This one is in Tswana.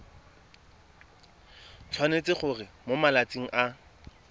tshwanetse gore mo malatsing a